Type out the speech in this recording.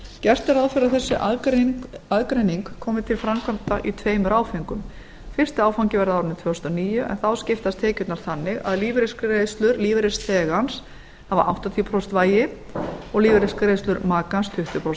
gert er ráð fyrir að þessi aðgreining komi til framkvæmda í tveimur áföngum fyrsti áfangi verði á árinu tvö þúsund og níu en þá skiptast tekjurnar þannig að lífeyrisgreiðslur lífeyrisþegans hafa áttatíu prósent vægi og lífeyrisgreiðslur makans tuttugu